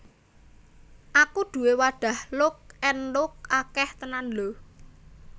Aku duwe wadah Lock and Lock akeh tenan lho